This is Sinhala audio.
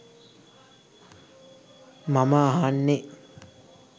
මම අහන්නේ.